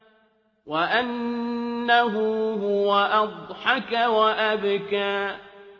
وَأَنَّهُ هُوَ أَضْحَكَ وَأَبْكَىٰ